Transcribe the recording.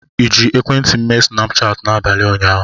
ịji ekwentị m mee Snapchatị n'abalị ụnyaahụ?